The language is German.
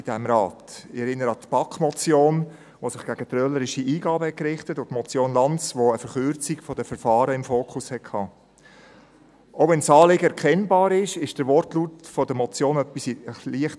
Ich erinnere an die BaK-Motion, die sich gegen trölerische Eingaben richtete und an die Motion Lanz, die auf eine Verkürzung der Verfahren fokussierte Auch wenn das Anliegen erkennbar ist, so irritiert der Wortlaut der Motion doch leicht: